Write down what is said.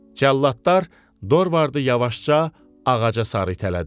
Cəlladlar Dorvardı yavaşca ağaca sarı itələdilər.